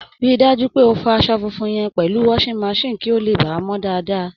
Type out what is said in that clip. Rí i dájú pé o fọ asọ funfun yẹn pẹ̀lú washing machine kí ó lè baà mọ́ daadaa!